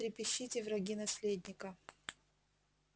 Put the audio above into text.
трепещите враги наследника